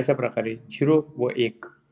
अशा प्रकारे zero व एक